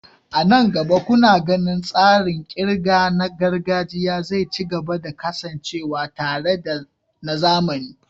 A nan gaba, kuna ganin tsarin ƙirga na gargajiya zai ci gaba da kasancewa tare da na zamani?